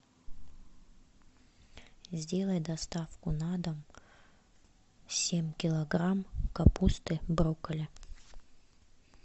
сделай доставку на дом семь килограмм капусты брокколи